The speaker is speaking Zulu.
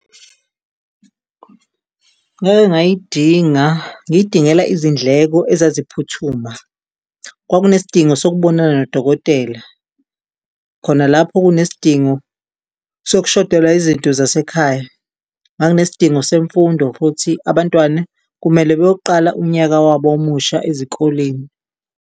Ngake ngayidinga ngiyidingela izindleko ezaziphuthuma. Kwakunesidingo sokubonana nodokotela khona lapho kunesidingo sokushodelwa izinto zasekhaya. Nganginesidingo semfundo futhi abantwana kumele beyoqala unyaka wabo omusha ezikoleni.